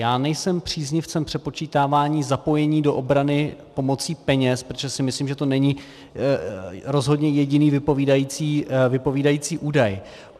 Já nejsem příznivcem přepočítávání zapojení do obrany pomocí peněz, protože si myslím, že to není rozhodně jediný vypovídající údaj.